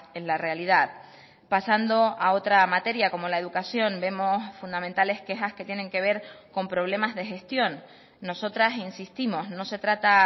en la realidad pasando a otra materia como la educación vemos fundamentales quejas que tienen que ver con problemas de gestión nosotras insistimos no se trata